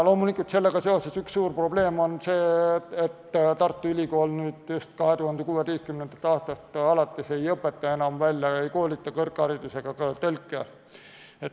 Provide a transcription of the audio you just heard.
Loomulikult on sellega seoses üks suur probleem see, et Tartu Ülikool 2016. aastast alates ei koolita enam kõrgharidusega tõlke.